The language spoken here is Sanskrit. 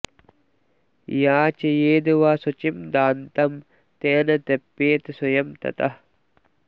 याचयेद् वा शुचिं दान्तं तेन तृप्येत स्वयं ततः